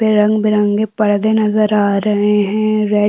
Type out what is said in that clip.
ये रंग बिरंगे पर्दे नजर आ रहे है रेड --